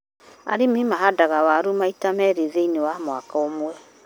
Arĩmi mahandaga waru maita meerĩ thĩiniĩ wa mwaka ũmwe.